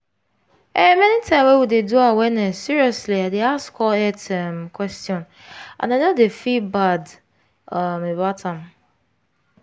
umanytime wey we dey do awareness seriously i dey ask all health um question and i no dey feel bad um about am.